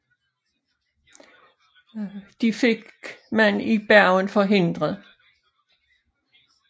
Det fik man i Bergen forhindret